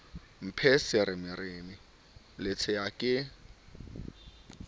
mphe semeremere le tshea ke